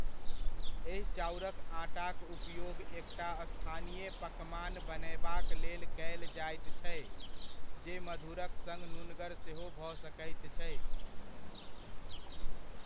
एहि चाउरक आटाका उपयोग एकटा स्थानीय पकमान बनयबाक लेल कयल जायत छै, जे मधुरक सङ नुनगर सेहो भऽ सकैत छै।